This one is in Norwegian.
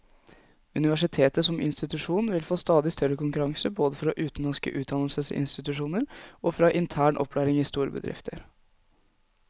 Universitetet som institusjon vil få stadig større konkurranse både fra utenlandske utdannelsesinstitusjoner og fra intern opplæring i store bedrifter.